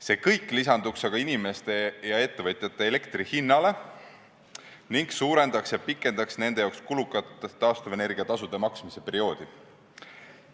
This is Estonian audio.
See kõik lisanduks aga inimeste ja ettevõtjate elektrihinnale ning suurendaks ja pikendaks nende jaoks kulukat taastuvenergia tasude maksmise perioodi.